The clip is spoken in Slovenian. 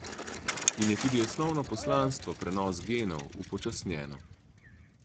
In je tudi osnovno poslanstvo, prenos genov, upočasnjeno.